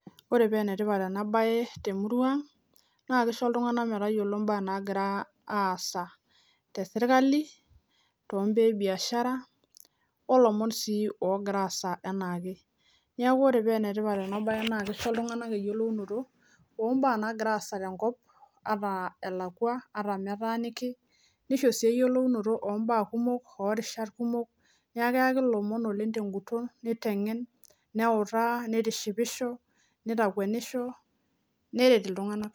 ore paa enetipat ena baye tenkop ang naa kisho iltunganak metayiolito entoki nagira aasa tesirkali otoonkwapi pooki ata ninye naalakwa neeku enetipat ena siai oleng amuu kishoru eyiolounoto amuu keyau ilomon nitengenisho nitishipisho neret sii iltunganak